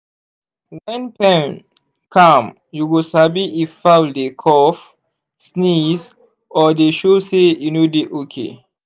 wen pen calm u go sabi if fowl dey cough sneeze or dey show say e no dey okay.